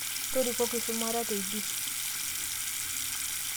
torikoki shumata teidie